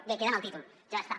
bé queda en el títol ja està